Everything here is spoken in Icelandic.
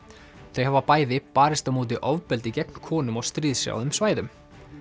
þau hafa bæði barist á móti ofbeldi gegn konum á stríðshrjáðum svæðum